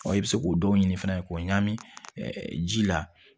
i bɛ se k'o dɔw ɲini fana k'o ɲagami ji la